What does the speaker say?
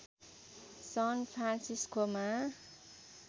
सन फ्रान्सिस्कोमा